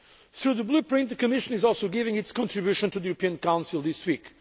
Through the Blueprint, the Commission is also making its contribution to the European Council this week.